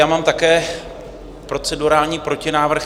Já mám také procedurální protinávrh.